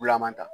Bulaman ta